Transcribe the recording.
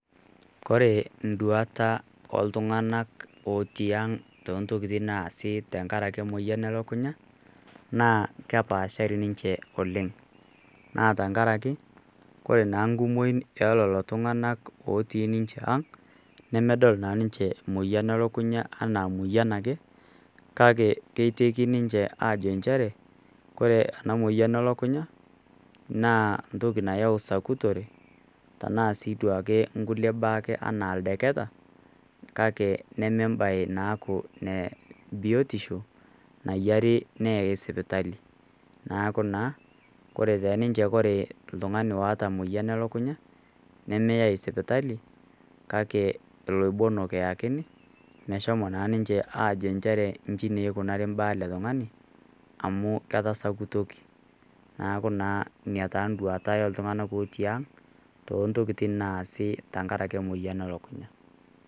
Kore induata oltung'anak otii aang' toontokin naasita tenkaraki emoyian e lukunya, naa kepaashari ninche oleng', naa tenkaraki ore naa enkumoi o lelo tung'ana otii ninche aang', nedol naa ninche emoyian e lukunya anaa emoyian ake, kake keiteki ninche ajo nchere Kore ena moyian elukunya naa entoki nayau sakutore, tanaa sii duo ake inkulie baa anaa ildeketa kake neme embae naaku biotisho nayiare neyai sipitali, neaku naa Kore te ninche ore oltung'ani oata emoyian e lukunya, nemeyai esipitali, kale iloibonok eyakini , meshomo naa ninche aajo inji neikunari imbaa ele tung'ani, amu ketasakutoki. Neaku naa Ina enduata ai o iltung'ana otii ang' toontokin naasi tenkaraki emoyian e lukunya.